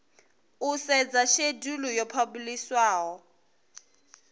u sedza shedulu yo phabulishiwaho